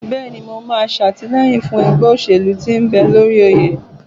Bẹ́ẹ̀ni, mo máa ṣàtìlẹ́yìn fún ẹgbẹ́ òṣèlú tí ń bẹ lórí oyè